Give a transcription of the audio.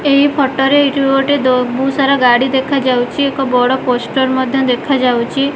ଏହି ଫୋଟୋ ରେ ଏଟି ଗୋଟେ ବହୁତ ସାରା ଗାଡ଼ି ଦେଖା ଯାଉଛି ଏକ ବଡ ପୋଷ୍ଟର ମଧ୍ୟ ଦେଖା ଯାଉଛି।